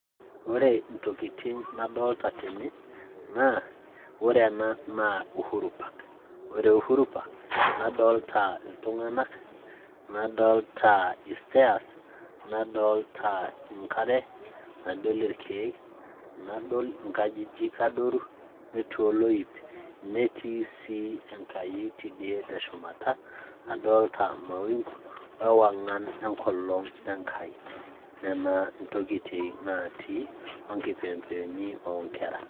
ore intokitin nadolita tene naa ore ena naa Uhuru park ore uhuru park nadolta iltung'anak nadolta i stairs nadolta enkare nadol irkeek nadol inkajijik adoru netii oloip netii sii enkai tidie te shumata adolta mawingu oo ewang'an enkolong enkai nena intokitin natii o kipembeoni oonkera.